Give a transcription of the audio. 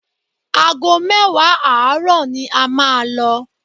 Aago mẹ́wàá àárọ̀ ni a máa lọ